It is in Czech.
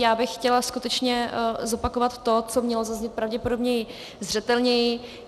Já bych chtěla skutečně zopakovat to, co mělo zaznít pravděpodobně zřetelněji.